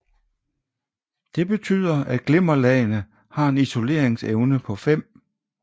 Det betyder at glimmerlagene har en isoleringsevne på 5 λ